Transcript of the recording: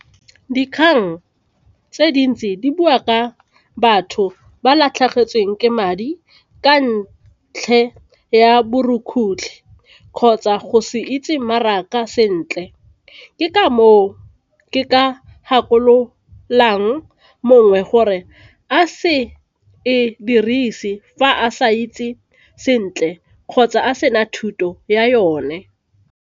Dikgang tse dintsi di bua ka batho ba latlhegetsweng ke madi ka ya borukgutlhi kgotsa go se itse mmaraka sentle ke ka moo ke ka gakololang mongwe gore a se e dirise fa a sa itse sentle kgotsa a sena thuto ya yone.